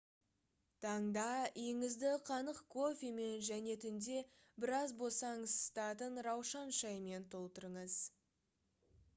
таңда үйіңізді қанық кофемен және түнде біраз босаңсытатын раушан шайымен толтырыңыз